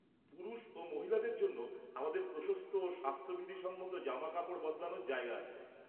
পুরুষ ও মহিলাদের জন্য আমাদের প্রশস্ত ও স্বাস্থ্যবিধিসম্মত জামাকাপড় বদলানোর জায়গা আছে।